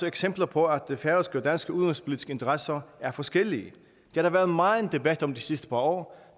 eksempler på at færøske og danske udenrigspolitiske interesser er forskellige det har der været meget debat om de sidste par år